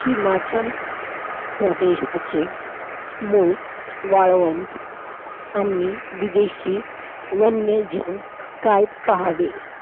आठ मार्च हा महिला दिन साजरा केला जातो महिला दिन साजरा करण्याचा वेळ का येत आहे .